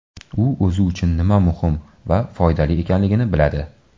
U o‘zi uchun nima muhim va foydali ekanligini biladi”.